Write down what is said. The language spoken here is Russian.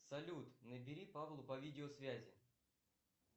салют набери павлу по видеосвязи